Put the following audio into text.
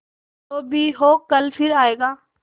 जो भी हो कल फिर आएगा